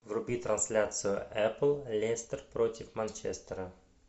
вруби трансляцию апл лестер против манчестера